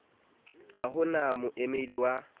ha ho na moemedi wa